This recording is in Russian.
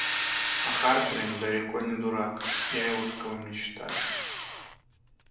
а хардрин далеко не дурак я его таковым не считаю